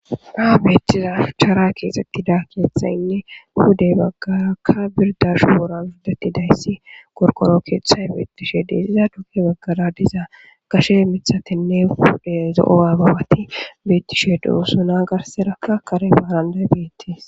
baa beettiza fuchara keexxettida keethayinne pudey baggarakka birdashu wora biddati dayssi korkoro keethay beettishe deesiza duke baggara diza kashe mithatinne hude zo7o aababati beettishe dousuna garserakka kare baaranday beettis